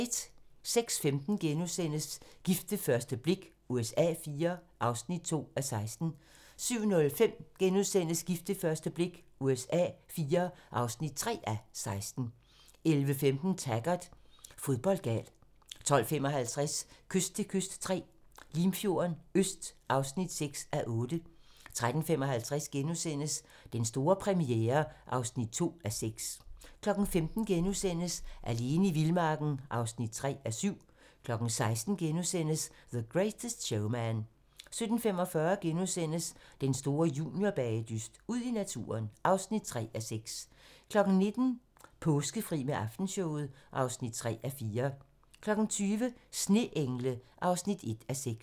06:15: Gift ved første blik USA IV (2:16)* 07:05: Gift ved første blik USA IV (3:16)* 11:15: Taggart: Fodboldgal 12:55: Kyst til kyst III - Limfjorden Øst (6:8) 13:55: Den store premiere (2:6)* 15:00: Alene i vildmarken (3:7)* 16:00: The Greatest Showman * 17:45: Den store juniorbagedyst - Ud i naturen (3:6)* 19:00: Påskefri med Aftenshowet (3:4) 20:00: Sneengle (1:6)